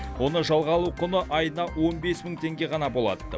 оны жалға алу құны айына он бес мың теңге ғана болады